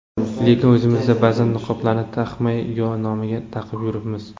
Lekin o‘zimizda ba’zan niqoblarni taqmay yo nomiga taqib yuribmiz.